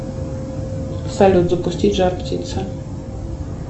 салют запустить жар птица